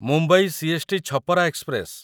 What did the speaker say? Mumbai CST. Chhapra express